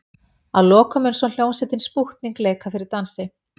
Að lokum mun svo hljómsveitin Spútnik leika fyrir dansi.